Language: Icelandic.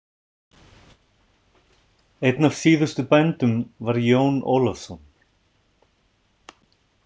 Einn af síðustu bændum var Jón Ólafsson.